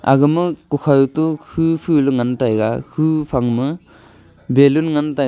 aga ma kukhaw to phu phu ley ngan tai ga hu phang ma balloon ngan taiga.